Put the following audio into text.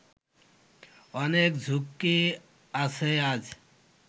অনেক ঝক্কি আছে আজ